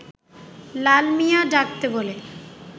লাল মিয়া ডাকতে বলে